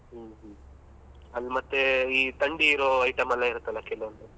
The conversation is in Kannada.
ಹ್ಮ್ ಹ್ಮ್ ಅದು ಮತ್ತೆ ಈ ತಂಡಿ ಇರೋ item ಎಲ್ಲ ಇರುತ್ತಲ್ಲ ಕೆಲವೊಂದು.